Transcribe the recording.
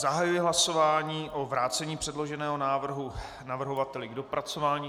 Zahajuji hlasování o vrácení předloženého návrhu navrhovateli k dopracování.